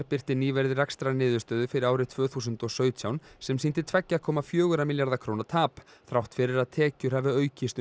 birti nýverið rekstrarniðurstöðu fyrir árið tvö þúsund og sautján sem sýndi tvær komma fjóra milljarða króna tap þrátt fyrir að tekjur hafi aukist